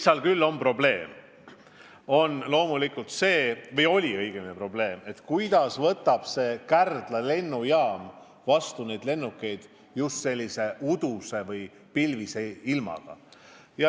Aga probleem on, kuidas võtab Kärdla lennujaam lennukeid vastu uduse või pilvise ilmaga.